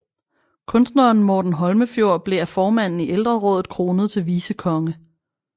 Kunstneren Morten Holmefjord blev af formanden i ældrerådet kronet til vicekonge